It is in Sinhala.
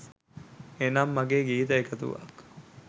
එනම් මගේ ගීත එකතුවක්